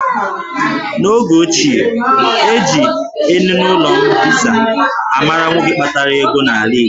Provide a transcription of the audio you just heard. N'oge ochie, eji eninụlọ mbisa a mara nwoke kpatara ego n'ala Igbo